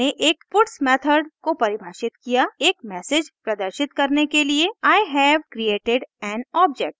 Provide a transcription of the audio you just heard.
मैंने एक puts method को परिभाषित किया एक मैसेज प्रदर्शित करने के लिए i have created an object